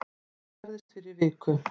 Þetta gerðist fyrir viku